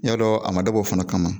N y'a dɔ a ma dab'ɔ fana kama